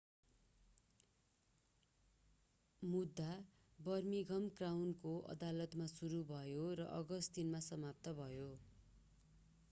मुद्दा बर्मिंघम क्राउनको अदालतमा सुरु भयो र अगस्ट3 मा समाप्त भयो